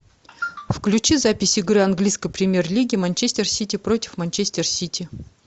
включи запись игры английской премьер лиги манчестер сити против манчестер сити